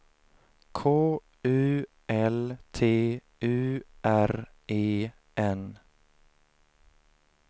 K U L T U R E N